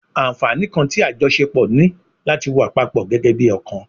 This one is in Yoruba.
Anfaani kan ti ajọṣepọ ni lati wa papọ gẹgẹbi ọkan